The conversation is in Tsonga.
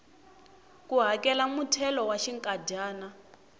ku hakela muthelo wa xinkadyana